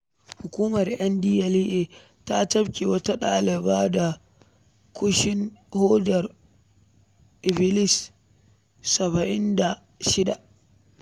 Hukumar NDLEA ta cafke wata ɗaliba da ƙushin hodar Iblis saba’in da shida.